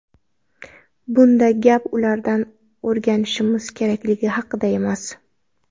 Bunda gap ulardan o‘rganishimiz kerakligi haqida emas.